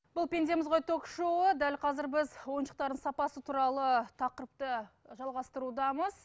бұл пендеміз ғой ток шоуы дәл қазір біз ойыншықтардың сапасы туралы тақырыпты жалғастырудамыз